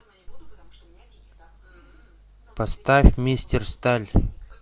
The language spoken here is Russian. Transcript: поставь мистер сталь